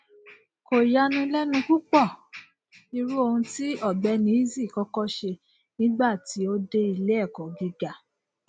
kò yanilẹnu púpọ irú ohun tí ọgbẹni eazi kọkọ ṣe nígbà tí ó dé iléẹkó gíga